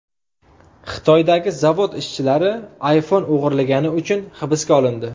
Xitoydagi zavod ishchilari iPhone o‘g‘irlagani uchun hibsga olindi.